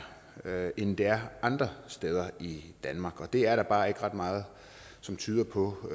er end det er andre steder i danmark og der er bare ikke ret meget som tyder på at